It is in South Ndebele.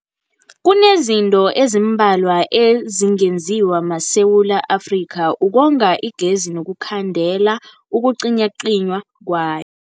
Kunezinto ezimbalwa ezingenziwa maSewula Afrika ukonga igezi nokukhandela ukucinywacinywa kway.